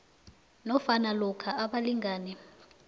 nofana lokha abalingani